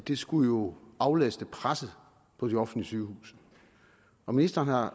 det skulle jo aflaste presset på de offentlige sygehuse og ministeren har